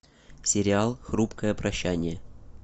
сериал хрупкое прощание